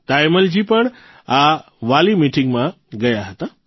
તાયમ્મલજી પણ આ વાલીમીટીંગમાં હતા